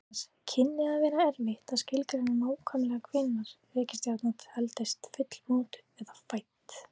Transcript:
Auk þess kynni að verða erfitt að skilgreina nákvæmlega hvenær reikistjarna teldist fullmótuð eða fædd.